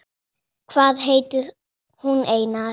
Hvað heitir hún, Einar?